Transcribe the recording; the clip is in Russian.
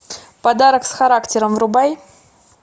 подарок с характером врубай